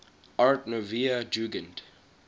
art nouveau jugend